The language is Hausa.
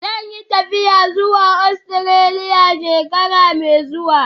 Zan yi tafiya zuwa Ostiraliya shekara mai zuwa